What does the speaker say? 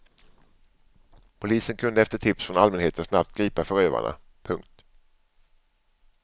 Polisen kunde efter tips från allmänheten snabbt gripa förövarna. punkt